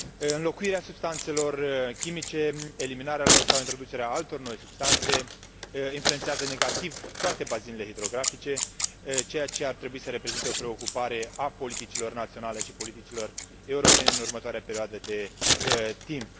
Înlocuirea substanțelor chimice, eliminarea lor sau introducerea altor noi substanțe influențează negativ toate bazinele hidrografice, ceea ce ar trebui să reprezinte o preocupare a politicilor naționale și politicilor europene în următoarea perioadă de timp.